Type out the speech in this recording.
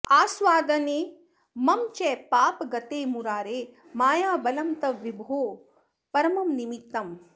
आस्वादने मम च पापगतेर्मुरारे मायाबलं तव विभो परमं निमित्तम्